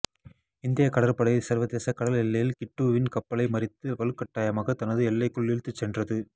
இந்தியக் கடற்படை சர்வதேச கடல் எல்லையில் கிட்டுவின் கப்பலை மறித்து வலுக்கட்டாயமாக தனது எல்லைக்குள் இழுத்துச் சென்றது